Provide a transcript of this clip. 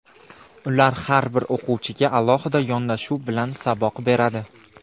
Ular har bir o‘quvchiga alohida yondashuv bilan saboq beradi.